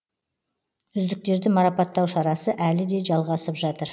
үздіктерді маррапатау шарасы әлі де жалғасып жатыр